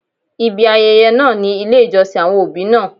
Ibi ayẹyẹ náà ni ilé ìjọsìn àwọn òbí náà.